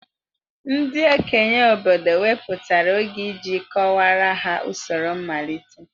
Ndị okenye obodo wepụtara oge iji kọwaara ha usoro mmalite.